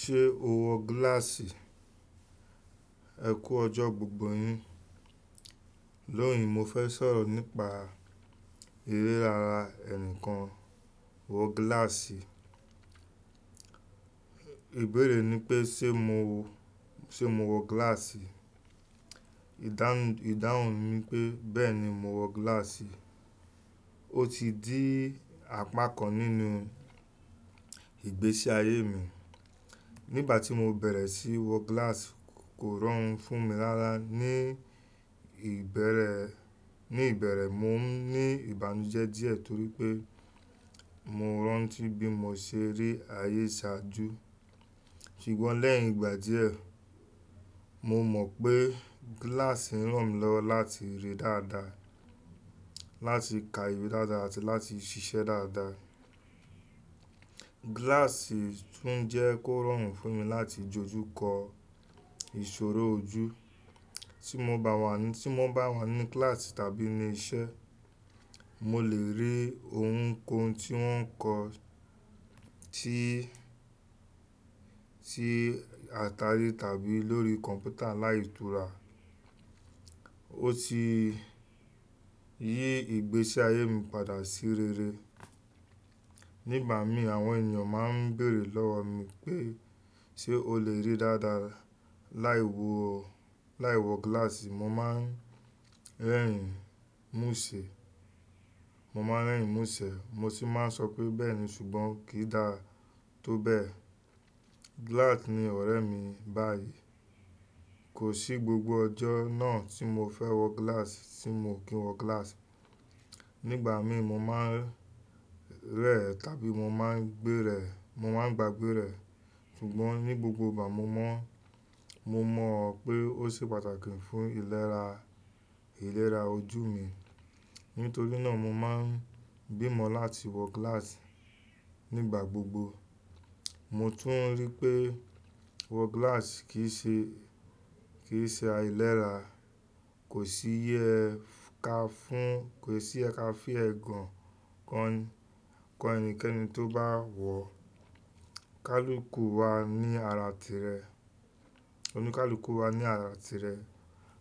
Ṣé o wọ gíláàsì? Ẹ kú ọjọ́ gbogbo yín. Lónìí mo fẹ́ sọ̀rọ̀ nípa eré ara ẹnìkan wọ gíláàsì. Ìbéèrè ni pé ṣe mo wọ, ṣe mo wọ gíláàsì? Ìdáhùn, ìdáhùn mi pé bẹ́ẹ̀ni mo wọ gíláàsì. Ó ti di apá kan nínú ìgbésí ayé mi. Nígbà tí mo bẹ̀rẹ̀ sí wọ gíláàsì kò rọrùn fún mi rára. Ni ìbẹ̀erẹ̀, ní ìbẹ̀erẹ̀ mo n ní ìbànújẹ́ díẹ̀ torí pé mo rántí bí mo ṣe rí ayé ṣáájú. Ṣùgbọ́n lẹ́yìn ìgbà díẹ̀, mo mọ̀ pé gíláàsì ń ràn mí lọ́wọ́ láti rí dáadáa, láti ka ìwé dáadáa àti láti ṣiṣẹ́ dáadáa. Gíláàsì tún jẹ́ kó rọrùn fún mi láti dójú kọ ìṣòro ojú. Tí mo bá wà ní, tí mo bá wà ní kíláàsì tàbí ní iṣẹ́, mo lè rí ohunkóhun tí wọ́n ń kọ tí, tí ata ilé tàbí lórí kọ̀mpútà láìtura. Ó ti yí ìgbésí ayé mi padà sí rere. Nígbà mi àwọn ènìyàn máa ń bèèrè lọ́wọ́ mi pé ṣé o lè rí dáadáa láì wọ, láì wọ gíláàsì? Mo máa ń rẹ́rìn ín múṣẹ. Mo máa ń rẹ́rìn ín múṣé mo sì máa ń sọ pé bẹ́ẹ̀ni ṣùgbọ́n kì í dà tó bẹ́ẹ̀. Gíláàsì ni ọ̀rẹ́ mi báyìí. Kò sí gbogbo ọjọ́ náà tí mo fẹ́ wọ gíláàsì tí mo kì ń wọ gíláàsì. Nígbà mi mo máa ń rẹ̀ ẹ tàbí mo máa ń gbé rẹ̀, mo máa ń gbagbé rẹ̀. Ṣùgbọ́n ní gbogbo ìgbà mo mọ̀, mo mọ̀ pé ó ṣe pàtàkì fún ìlera, ìlera ojú mi. Nítorí náà mo máa ń gbìmọ̀ láti wọ gíláàsì nígbà gbogbo. Mo tún rí pé wọ gíláàsì kì í ṣe, kì í ṣe ailéra. Kò sí yẹ ka fún, kò sí yẹ ka fi ẹ̀gàn kan ẹni, kan ẹnikẹ́ni tó bá wọ̀. Kálùkù wà ní ara tirẹ̀. Òní kálùkù wà ní ara tirẹ̀.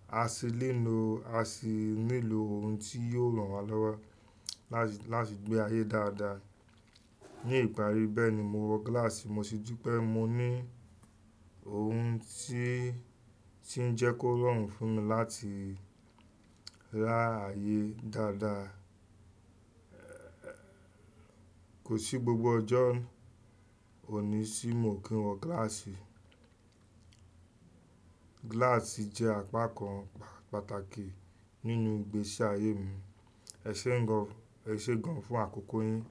A sì ní lò, a sì ní lò ohun tí yóò ràn wá lọ́wọ́ láti, láti gbé ayé dáadáa. Ni ìparí bẹ́ẹ̀ ni mo wọ gíláàsì, mo sì dú pé mo ní ohun tí, tí ń jẹ́ kó rọrùn fún mi láti rá ayé dáadáa. Kò sí gbogbo ọjọ́ òní tí mo kì ń wọ gíláàsì. Gíláàsì jẹ́ apá kan pà-pàtàkì nínú ìgbésí ayé mi. Ẹ ṣéuń gan, ẹ ṣé gan fún àkókò yín.